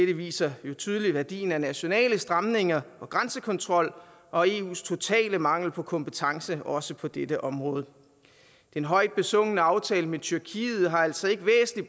det viser tydeligt værdien af nationale stramninger og grænsekontrol og eus totale mangel på kompetence også på dette område den højt besungne aftale med tyrkiet har altså ikke